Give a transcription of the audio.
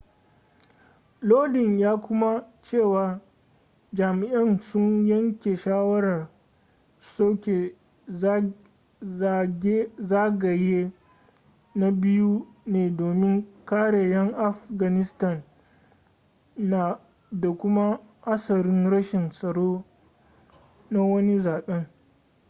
lodin ya kuma cewa jami'ai sun yanke shawarar soke zagaye na biyu ne domin kare 'yan afghanistan da kuma hatsarin rashin tsaro na wani zaben